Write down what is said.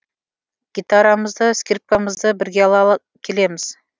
гитарамызды скрипкамызды бірге алала келеміз